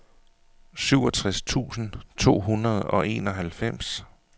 syvogtres tusind to hundrede og enoghalvfems